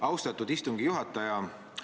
Austatud istungi juhata!